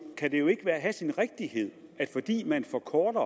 kan det jo ikke have sin rigtighed at fordi man forkorter